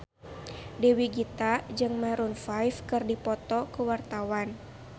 Dewi Gita jeung Maroon 5 keur dipoto ku wartawan